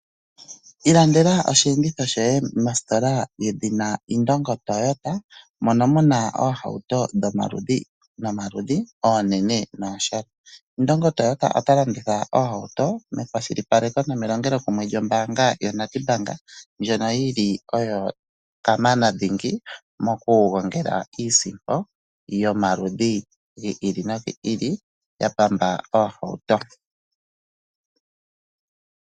Ilandela osheenditho shoye mositola yedhina Indongo Toyota mono mu na oohauto dhomaludhi nomaludhi, oonene nooshona. Indongo Toyota ota landitha oohauto mekwashilipaleko nomelongelo kumwe lyombaanga yaNedbank ndjono yi li kamana dhingi mokugongela iisimpo yomaludhi gi ili no gi ili ya pamba oohauto.